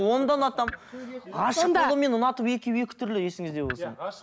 оны да ұнатамын ғашық болу мен ұнату екеуі екі түрлі есіңізде болсын